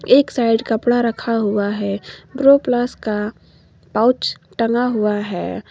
एक साइड कपड़ा रखा हुआ है ब्रोप्लस का पाउच टंगा हुआ है।